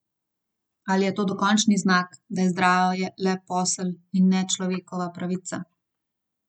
Ali je to dokončni znak, da je zdravje le posel, in ne človekova pravica?